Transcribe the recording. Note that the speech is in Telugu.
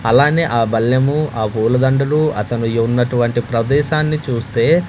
అలానే ఆ బళ్ళేము ఆ పూలదండలు అతను ఉన్నటువంటి ప్రదేశాన్ని చూస్తే--